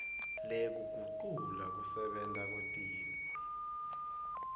lekugucula kusebenta kwetintfo